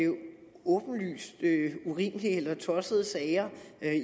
åbenlyst urimelige eller tossede sager